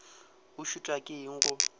o šitwa ke eng go